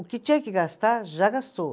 O que tinha que gastar, já gastou.